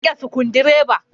Ya riƙe sukundireba.